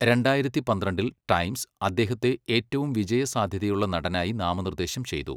രണ്ടായിരത്തി പന്ത്രണ്ടിൽ 'ടൈംസ്' അദ്ദേഹത്തെ ഏറ്റവും വിജയസാധ്യതയുള്ള നടനായി നാമനിർദ്ദേശം ചെയ്തു.